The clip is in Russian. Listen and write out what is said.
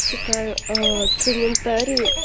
читаю а э комментарии